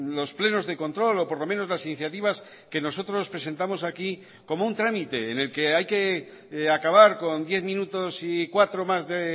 los plenos de control o por lo menos las iniciativas que nosotros presentamos aquí como un trámite en el que hay que acabar con diez minutos y cuatro más de